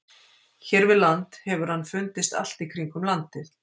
Hér við land hefur hann fundist allt í kringum landið.